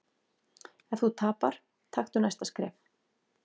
Ef þú tapar, taktu næsta skref.